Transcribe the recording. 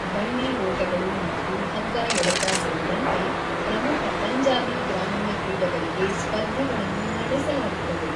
ಬಂಡಿ ಓಟಗಳು ಮತ್ತು ಹಗ್ಗ ಎಳೆತ ಸೇರಿದಂತೆ ಪ್ರಮುಖ ಪಂಜಾಬಿ ಗ್ರಾಮೀಣ ಕ್ರೀಡೆಗಳಿಗೆ ಸ್ಪರ್ಧೆಗಳನ್ನು ನಡೆಸಲಾಗುತ್ತದೆ.